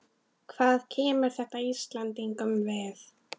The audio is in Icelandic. Hvað kemur þetta Íslendingum við?